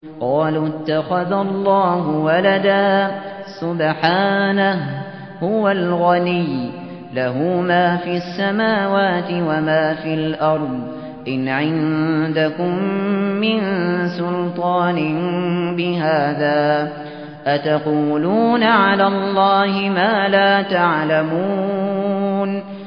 قَالُوا اتَّخَذَ اللَّهُ وَلَدًا ۗ سُبْحَانَهُ ۖ هُوَ الْغَنِيُّ ۖ لَهُ مَا فِي السَّمَاوَاتِ وَمَا فِي الْأَرْضِ ۚ إِنْ عِندَكُم مِّن سُلْطَانٍ بِهَٰذَا ۚ أَتَقُولُونَ عَلَى اللَّهِ مَا لَا تَعْلَمُونَ